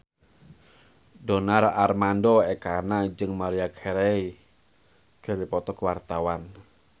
Donar Armando Ekana jeung Maria Carey keur dipoto ku wartawan